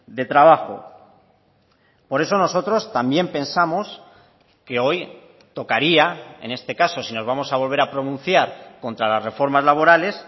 de trabajo por eso nosotros también pensamos que hoy tocaría en este caso si nos vamos a volver a pronunciar contra las reformas laborales